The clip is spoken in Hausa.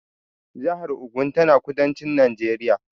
Jahar Ogun tana kudancin Najeriya